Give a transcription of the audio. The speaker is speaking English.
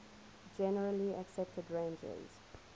generally accepted ranges